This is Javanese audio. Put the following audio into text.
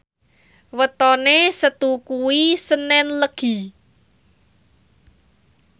wetone Setu kuwi senen Legi